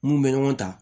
Mun bɛ ɲɔgɔn ta